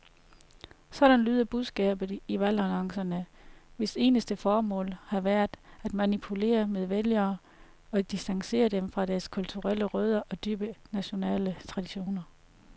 Sådan lyder budskabet i valgannoncerne, hvis eneste formål har været at manipulere med vælgere og distancere dem fra deres kulturelle rødder og dybe nationale traditioner.